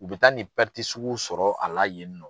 U bɛ taa nin sugu sɔrɔ a la yen nɔ.